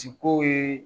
Ciko ye